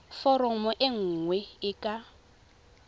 foromo e nngwe e ka